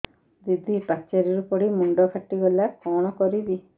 ଦିଦି ପାଚେରୀରୁ ପଡି ମୁଣ୍ଡ ଫାଟିଗଲା କଣ କରିବି